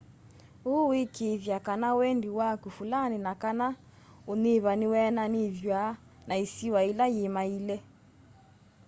ũu wikiithya kana wendi waku fulani na/kana unyivu niweananithw'a na isiwa ila yimaile